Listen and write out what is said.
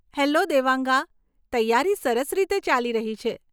Hello Devanga! તૈયારી સરસ રીતે ચાલી રહી છે.